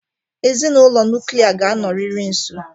Ezinụlọ nuklia ga-anọrịrị nso.